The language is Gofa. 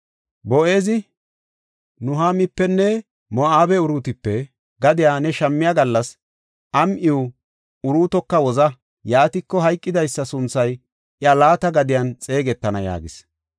Boo7ezi, “Nuhaamipenne Moo7abe Uruutipe gadiya ne shammiya gallas am7iw Uruutoka woza; yaatiko hayqidaysa sunthay iya laata gadiyan xeegetana” yaagis.